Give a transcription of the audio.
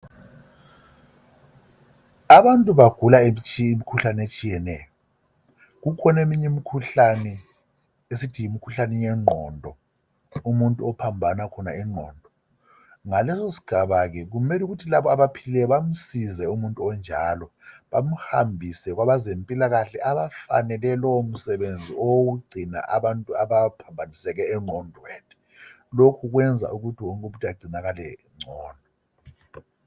Abantu bagula imikhuhlane etshiyeneyo kukhona eminye imikhuhlane esithi yimikhuhlane yengqondo umuntu ophambane ingqondo ngaleso sigaba ke kufanele umuntu ophilileyo bamsize umuntu onjalo bamhambise kwabezempilakahle abafanele lowo msebenzi wokungcina abantu abaphambaniseke engqondweni lokhu kwenza ukuthi wonke umuntu angcinakale ngcono